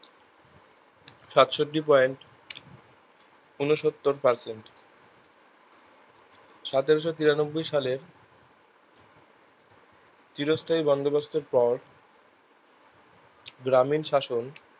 সাতষট্টি point ঊনসত্তর percent সতেরোশো তিরানব্বই সালের চিরস্থায়ী বন্দোবস্থের পর গ্রামীণ শাসন